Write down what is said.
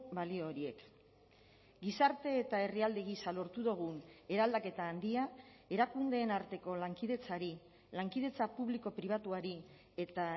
balio horiek gizarte eta herrialde gisa lortu dugun eraldaketa handia erakundeen arteko lankidetzari lankidetza publiko pribatuari eta